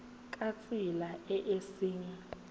ka tsela e e seng